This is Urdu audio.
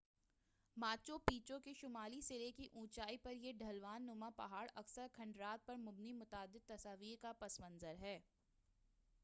ماچو پیچو کے شمالی سرے کی اونچائی پر یہ ڈھلوان نما پہاڑ اکثرکھنڈرات پر مبنی متعدد تصاویر کا پس منظر ہے